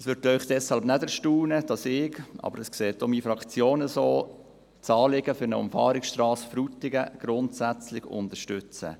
Es wird Sie deshalb nicht erstaunen, dass ich das Anliegen für eine Umfahrungsstrasse Frutigen grundsätzlich unterstütze.